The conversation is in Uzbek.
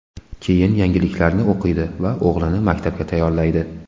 Keyin yangiliklarni o‘qiydi va o‘g‘lini maktabga tayyorlaydi.